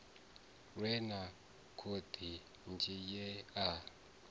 lwe na khoḽidzhi ye a